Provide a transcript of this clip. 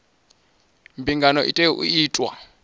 mbingano i tea u itwa